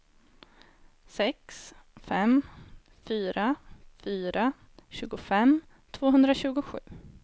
sex fem fyra fyra tjugofem tvåhundratjugosju